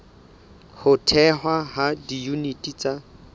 ho thehwa ha diyuniti tsa